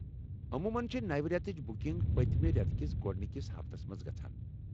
عموماً چھےٚ نو رٮ۪تٕچ بٗکِنٛگ پٔتمہِ رٮ۪تہٕ کس گۄڑنِکس ہفتس منٛز گژھان۔